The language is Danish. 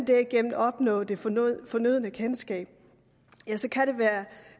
derigennem at opnå det fornødne fornødne kendskab så kan det være